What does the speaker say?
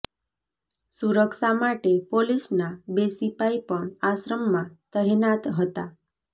સુરક્ષા માટે પોલીસના બે સિપાઈ પણ આશ્રમમાં તહેનાત હતા